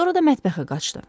Sonra da mətbəxə qaçdı.